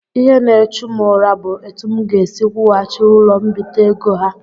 Ihe n'echu m ụra bụ etụ m ga-esi kwughachi ụlọ mbite ego ha.